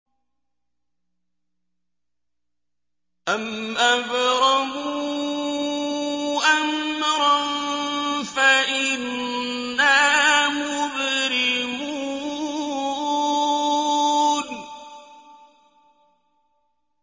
أَمْ أَبْرَمُوا أَمْرًا فَإِنَّا مُبْرِمُونَ